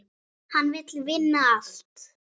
Hann vill vinna allt.